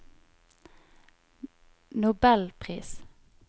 nobelpris